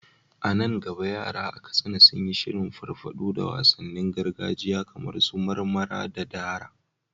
A nan gaba yara a Katsina sun yi shirin farfado da wasannin gargajiya kamar su marmara da dara.